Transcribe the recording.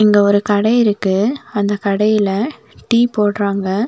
இங்க ஒரு கடை இருக்கு அந்த கடையில டீ போடுறாங்க.